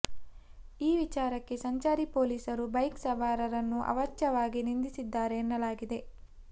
ಈ ವಿಚಾರಕ್ಕೆ ಸಂಚಾರಿ ಪೊಲೀಸರು ಬೈಕ್ ಸವಾರರನ್ನು ಅವಾಚ್ಯವಾಗಿ ನಿಂದಿಸಿದ್ದಾರೆ ಎನ್ನಲಾಗಿದೆ